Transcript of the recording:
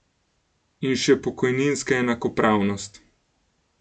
In še pokojninska enakopravnost.